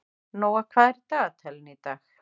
Nóa, hvað er í dagatalinu í dag?